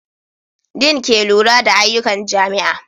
Din ke lura da ayyukan jami'a.